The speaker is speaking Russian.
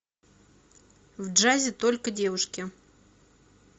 в джазе только девушки